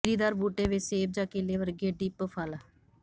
ਗਿਰੀਦਾਰ ਬੂਟੇ ਵਿੱਚ ਸੇਬ ਜਾਂ ਕੇਲੇ ਵਰਗੇ ਡਿੱਪ ਫਲ